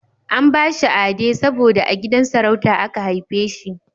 An bashi Ade saboda a gidan sarauta aka haife shi